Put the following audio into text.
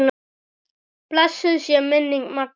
Blessuð sé minning Magga.